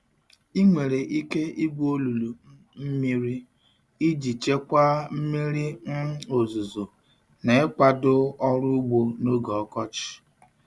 Ị nwere ike igwu olulu um mmiri iji chekwaa mmiri um ozuzo na ịkwado ọrụ ugbo n'oge ọkọchị.